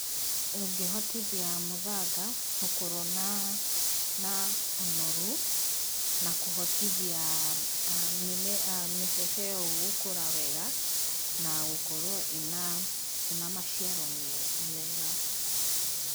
Ũngĩhotithia mũthanga gũkorwo na ũnoru, na kũhotithia mĩbebe iyo gũkũra wega na gũkorwo ĩna maciaro mega.